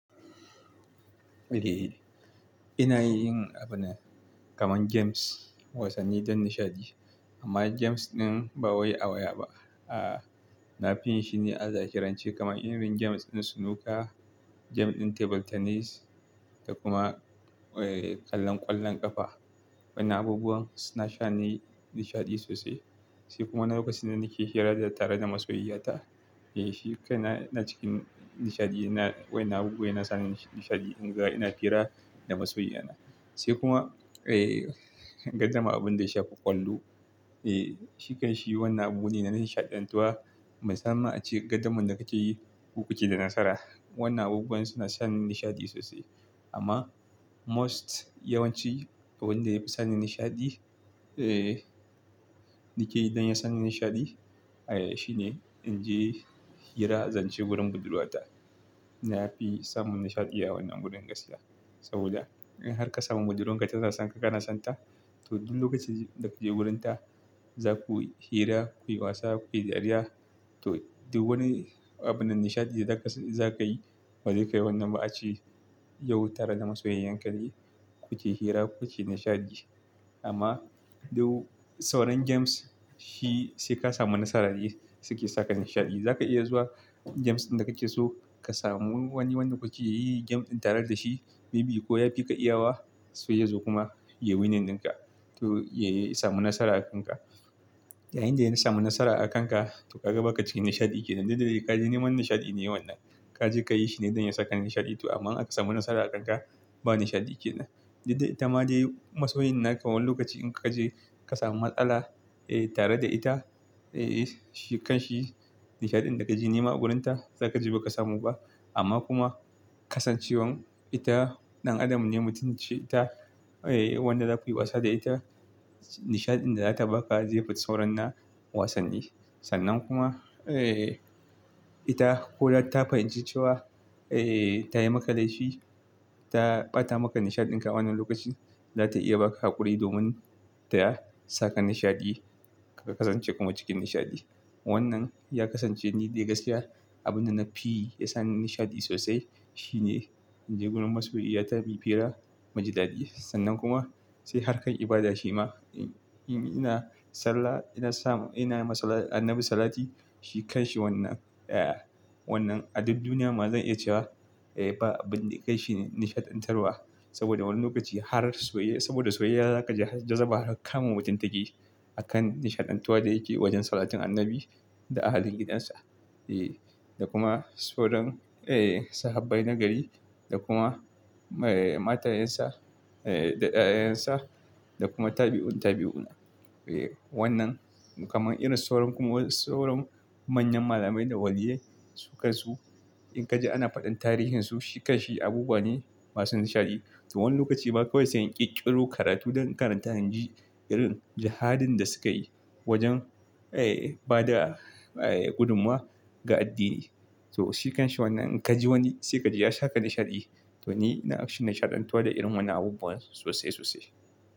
Eh, ina yin abunnan kamar games, wasanni don nishaɗi. Amma games ɗin ba wai a waya ba. Aaa, nafi yinshi ne a zahirance kamar irin games ɗin snooker, game ɗin table tennis da kuma, eh, kallon ƙwallon ƙafa. Wannan abubuwan suna sani nishaɗi sosai. Sai kuma na lokacin da nake hira tare da masoyiyata. Eh, shi kaina ina cikin nishaɗi, na waƴannan na abubuwan ina samu nishaɗi in ga ina hira da masoyi na. Sai kuma, eh, gadamar abinda ya shafi ƙwallo. Eh, shi kanshi wannan abune na nishaɗantuwa. Musamman ace gadamar da kake yi, ko kuke da nasara. Wannan abubuwan suna sani nishaɗi sosai. Amma most yawanci abinda yafi sani nishaɗi, eh, nake don ya sani nishaɗi, ayya shine inje hira, zance wurin budurwata. Nafi samun nishaɗi iya wannan wurin gaskiya. Saboda in har ka samu budurarka tana son ka, kana son ta, to duk lokacin da kaje wurinta za kuyi hira, kuyi wasa, kuyi dariya. To duk wani abinda nishaɗi da zaka yi, bazai kai wannan ba ace yau tare da masoyinka ne kuke hira, kuke nishaɗi. Amma duk sauran games shi saika samu nasara ne suke saka nishaɗi. Zaka iya zuwa games ɗin da kake so ka samu wani wanda kuke yi game ɗin tare da shi. Maybe ko yafi ka iyawa, sai yazo kuma yayi winin dinka. Ko yayi samu nasara akanka. Yayinda ya samun nasara akanka to kaga baka cikin nishaɗi kenan. Dukda de kaje neman nishaɗi ne wannan. Kaje kayi shi ne don ya saka nishaɗi to amma in aka samu nasara akanka ba nishaɗi kenan. Dukda ita ma dai masoyin naka wani lokaci in kaje ka samu matsala, eh, tare da ita, eh, shi kanshi nishaɗin da kaje nema a wurinta zakaje baka samu ba. Amma kuma kasancewar ita ɗan adam ne mutum ce ita, eh, wanda za kuyi wasa da ita, nishaɗin da zata baka zai fi sauran na wasanni. Sannan kuma, eh, ita koda ta fahimci cewa, eh, tayi maka laifi, ta ɓata maka nishaɗin ka a wannan lokacin, zata iya baka haƙuri domin ta saka nishaɗi ka kasance kuma cikin nishaɗi. Wannan ya kasance ni dai gaskiya abinda nafi ya sani nishaɗi sosai. Shine inje wurin masoyiyata muyi hira, mu ji daɗi. Sannan kuma sai harkan ibada shi ma. In ina sallah ina samu ina masallan--ina ma Annabi Sallati shi kanshi wannan. Wannan a duk duniya ma zan iya cewa, eh, ba abinda kaishi ni, nishaɗantarwa. Saboda wannan lokaci har soye-- saboda soyayya zaka ji har jazama har kama mutum take a kan nishaɗantuwa da yake wajen Sallatin Annabi da ahalin gidansa. Eh, da kuma sauran, eh, Sahabbai na gari da kuma, eh, matayensa, eh, da ƴaƴaƴensa da kuma tabi'un tabi'una. Eh, wannan kamar irin sauran kuma sauran manyan malamai da waliyyai su kansu. In kaji ana faɗin tarihin su shi kanshi abubuwa ne masu nishaɗi. To wani lokaci ma kawai sai in ƙirƙiro karatu don in karanta inji irin jihadin da suka yi wajen, eh, bada, eh, gudummawa ga addini. To shi kanshi wannan in kaji wani sai kaji ya saka nishaɗi. To ni ina action nishaɗantuwa da irin wannan abubuwa sosai sosai.